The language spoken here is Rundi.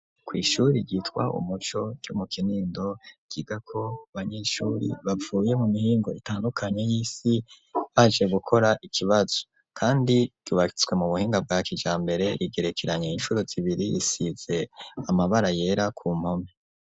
Kw'ishuri ryitwa umuco ryo mu Kinindo ryigako abanyeshuri bavuye mu mihingo itandukanye y'isi baje gukora ikibazo, kandi ryubatswe mu buhinga bwa kijambere rigerekeranye incuro zibiri risize amabara yera ku mpome.